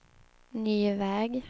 ny väg